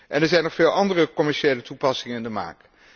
En er zijn nog veel andere commerciële toepassingen in de maak.